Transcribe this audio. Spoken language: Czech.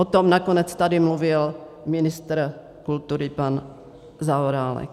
O tom nakonec tady mluvil ministr kultury pan Zaorálek.